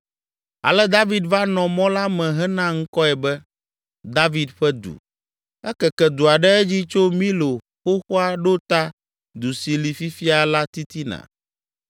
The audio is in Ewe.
Ale David va nɔ mɔ la me hena ŋkɔe be, “David Ƒe Du.” Ekeke dua ɖe edzi tso Milo xoxoa ɖo ta du si li fifia la titina.